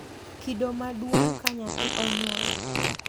Kido maduong’ ka nyathi onyuol,